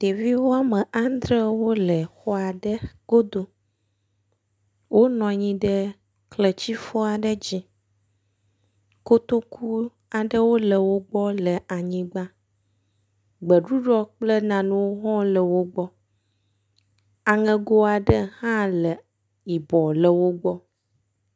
Ɖevi wome adre wole xɔ aɖe godo, wonɔ anyi ɖe kletsifɔ aɖe dzi, kotoku aɖewo wole wogbɔ le anyigba, gbeɖuɖɔ kple nanewo hã le wogbɔ, aŋɛgo aɖewo hã le yibɔ le wogbɔ